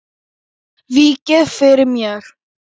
Víkið fyrir mér.